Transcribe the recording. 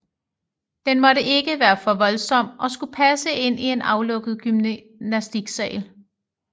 Den måtte ikke være for voldsom og skulle passe ind i en aflukket gymnastiksal